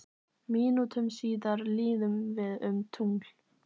Mínútum síðar líðum við um tungl